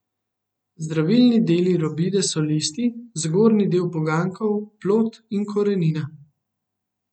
Zdravilni deli robide so listi, zgornji del poganjkov, plod in korenina.